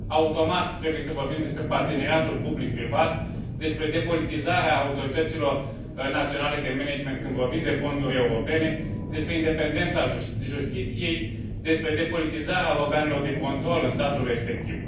automat, trebuie să vorbim despre parteneriatul public privat, despre depolitizarea autorităților naționale de management când vorbim de fonduri europene, despre independența justiției, despre depolitizarea organelor de control în statul respectiv.